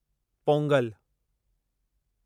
Pongal